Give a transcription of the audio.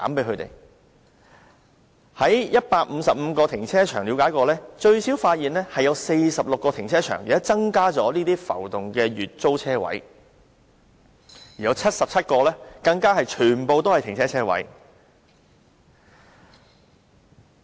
在155個停車場中，發現最少有46個停車場增加了浮動的月租車位，而有77個更全部改為浮動車位。